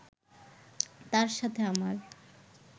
তার সাথে আমার